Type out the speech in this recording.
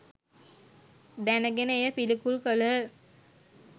දැන ගෙන එය පිළිකුල් කළහ